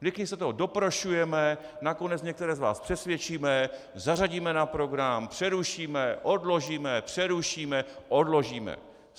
Vždycky se toho doprošujeme, nakonec některé z vás přesvědčíme, zařadíme na program, přerušíme, odložíme, přerušíme, odložíme.